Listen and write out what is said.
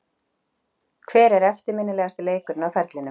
Hver er eftirminnilegasti leikurinn á ferlinum?